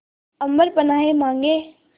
अम्बर पनाहे मांगे